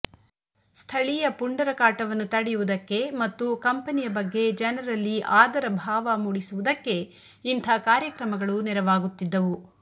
ಸ್ಥಳೀಯ ಪುಂಡರ ಕಾಟವನ್ನು ತಡೆಯುವುದಕ್ಕೆ ಮತ್ತು ಕಂಪನಿಯ ಬಗ್ಗೆ ಜನರಲ್ಲಿ ಆದರಭಾವ ಮಾಡಿಸುವುದಕ್ಕೆ ಇಂಥ ಕಾರ್ಯಕ್ರಮಗಳು ನೆರವಾಗುತ್ತಿದ್ದವು